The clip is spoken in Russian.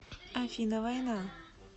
афина война